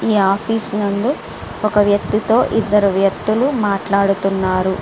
ఈ ఆఫీస్ ముందూ ఒక వ్యక్తి తో ఇదరు వ్యక్తులు మాట్లాడుతునారు.